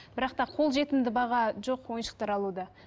бірақ та қолжетімді баға жоқ ойыншықтар алуда